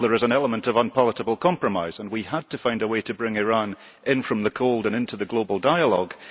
In any deal there is an element of unpalatable compromise, and we had to find a way to bring Iran in from the cold and into the global dialogue.